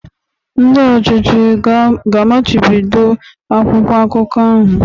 Ndị ọchịchị ga-amachibido akwụkwọ akụkọ ahụ?